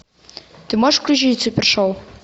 ты можешь включить супершоу